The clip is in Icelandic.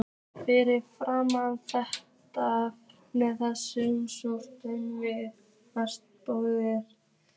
Við fylgjumst með þessum stórveldum við matarborðið.